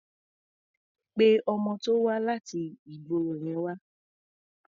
Pé ọmọ tó wá láti ìgboro yẹn wá.